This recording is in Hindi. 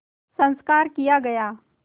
संस्कार किया गया